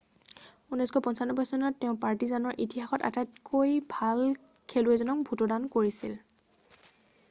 1995 চনত তেওঁ পাৰ্টিজানৰ ইতিহাসত আটাইতকৈ ভাল খেলুৱৈজনক ভোটদান কৰিছিল৷